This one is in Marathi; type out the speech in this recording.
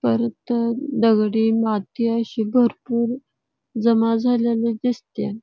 पतर इथ दगडी माती अशी भरपुर जमा झालेली दिसती.